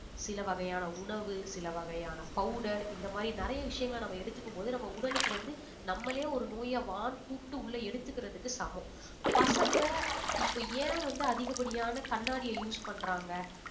சில வகையான உணவு சில வகையான powder இந்த மாதிரி நிறைய விஷயங்களை நம்ம எடுத்துக்கும் போது நம்ம உடலுக்கு வந்து நம்மளே ஒரு நோயை வான்னு கூப்பிட்டு உள்ள எடுத்துக்கிறதுக்கு சமம் பசங்க இப்ப ஏன் வந்து அதிகப்படியான கண்ணாடிய use பண்றாங்க